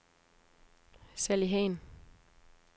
Sally Hahn